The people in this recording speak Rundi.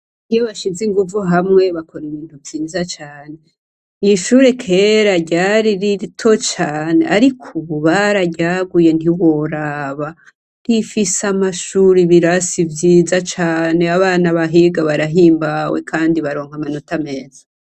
Iyo bashize inguvu hamwe bakora ibintu biza cane. Irishure kera ryari rito cane ariko ubu bararyaguye ntiworaba rifise amashure ibirasi vyiza cane abana bahiga barahimbawe kandi baronka amanota meza.